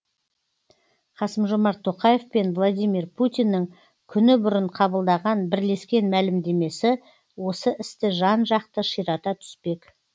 қасым жомарт тоқаев пен владимир путиннің күні бұрын қабылдаған бірлескен мәлімдемесі осы істі жан жақты ширата түспек